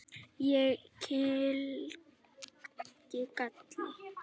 Ég kyngi galli.